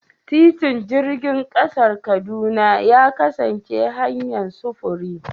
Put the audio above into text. Titin jirgin ƙasa na Kaduna ya kasance hanyar sufuri.